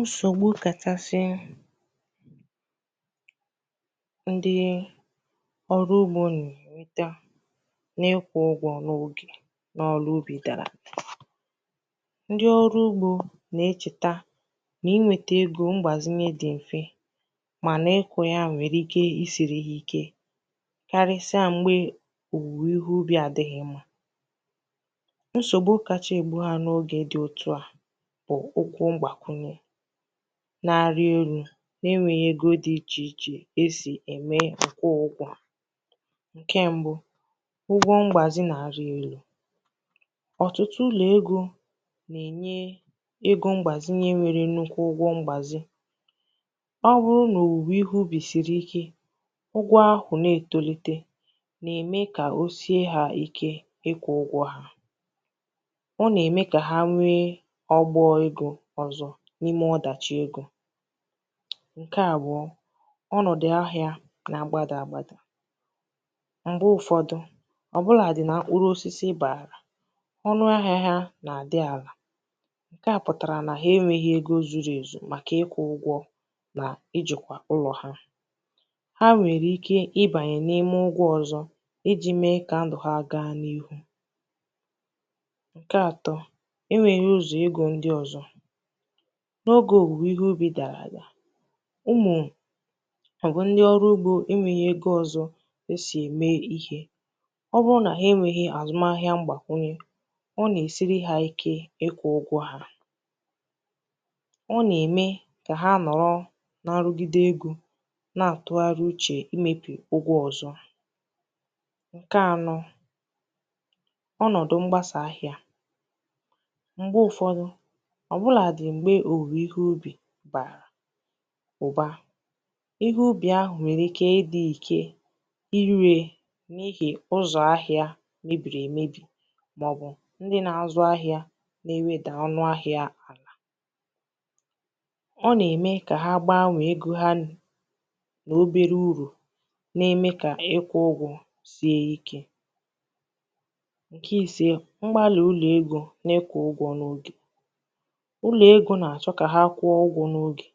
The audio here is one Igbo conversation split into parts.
Nsògbu kachasị ndi ọrụ ugbō nà-ènweta n’ịkwụ ụgwọ̄ n’ogè n’ọlụ ubì ndi ọrụ ugbō na-echèta n’inwētē egō mgbàzinye dì m̀fe m̀anà ịkụ̄ ya nwèrè ike i siri ha ike karịsịa m̀gbè òwùwè ihe àdịghị̄ mmā nsògbu kacha ègbu ha n’ogè dị otua bụ̀ ụkwụ mgbàkwunye na-àrị elū nà enwēghī egō di ichèichè e sì ème àkwụ ha ụgwọ̄ ǹkè mbụ̄ ụgwọ̄ mgbàzi na-àrị elū ọ̀tụtụ ụlọ̀ egō na-ènye egō mgbàzinye nwere nnukwu ụgwọ̄ mgbàzi ọ wụrụ nà òwùwè ihe ubì sìrì ike ụgwọ̄ ahụ̀ na-ètolite nà-ème kà o sie ha ike ịkwụ̄ ụgwọ̄ ha ọ nà-ème kà ha nwee ọgbọ egō ọzọ̄ n’ime ọdàchi egō ǹkè àbụọ ọnọ̀dụ̀ ahịā nà-àgbadà agbādà m̀gbè ụfọ̄dụ̄ ọ̀bụlàdị nà mkpụrụ osisi bụ̀ àlà ọnụ ahịa ha nà-àdị àlà nke a pụtara na ha enweghi ego zùrù ezù màkà ịkwụ̄ ụgwọ̄ na ijìkwà ụlọ̀ ha ha nwèrè ike ibànyè n’ime ụgwọ̄ ọzọ̄ ijī mee kà ndụ̀ ha gaa n’ihu ǹkè atọ enwēghī ụzọ̀ egō ndi ọzọ̄ n‘ogè òwùwè ihe ubì dàrà adà ụmụ̀ màọbụ̀ ndi ọrụ ugbō enwēghī egō ọzọ̄ è si ème ihē ọbụrụ nà ha enwēghī àzụm ahịa mgbàkwùnye ọ nà-èsiri ike ịkwụ̄ ụgwọ̄ ọ nà-ème kà ha nọ̀rọ n’ọrụgide egō nà-àtụgharị uchè imēpì ụgwọ̄ ọ̀zọ ǹkè anọ̄ ọnọ̀dụ̀ mgbasà ahịa m̀gbè ụ̀fọdụ ọ̀bụlàdị̀ m̀gbè òwùwè ihe bàrà ụ̀ba ihe ubì àhụ nwèrè ike ị dị̄ ike i rē n’ihì ụzọ̀ ahịa mebiri emēbì màọbụ̀ nde na-àzụ na-ewedà ọnụ̄ ahịa àlà ọ nà-ème kà ha gbanwèè egō ha nà n’obere urù na-eme kà ịkwụ̄ ugwọ̄ sie ikē ǹkè isē mgbalị̀ ụlọ̀ egō n’ịkwụ̄ n’ogè ụlọ̀ egō nà-àchọ kà ha kwụọ ụgwọ̄ n’ogè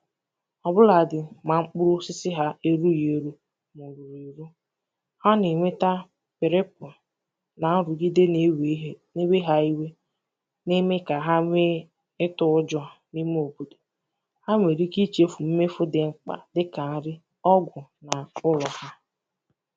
ọ̀bụlàdị mà mkpụrụ̄ osisi erūghī èru mà ò rùrù èru ha nà-ènweta ǹrịkwụ̀ nà nrugide na-ewè ihe na-ewe ha iwe nà-ème kà ha nwee ịtụ̄ ụjọ̄ n’ime ha ha nwèrè ike ichēfù mmefù dì mkpà dịkà nri ọgwụ̀ nà ụlọ̀ ha